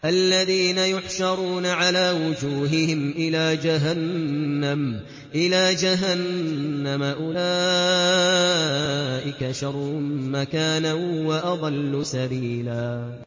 الَّذِينَ يُحْشَرُونَ عَلَىٰ وُجُوهِهِمْ إِلَىٰ جَهَنَّمَ أُولَٰئِكَ شَرٌّ مَّكَانًا وَأَضَلُّ سَبِيلًا